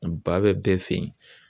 Ba bɛ bɛɛ fɛ yen